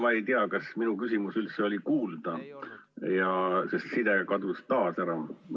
Ma ei tea, kas minu küsimus üldse oli kuulda, sest side kadus taas ära.